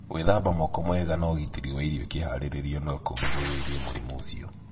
Gwithamba moko wega na ũgitĩri wa irio ikĩharĩrĩrio no kũgirĩrĩrie mũrimũ ũcio.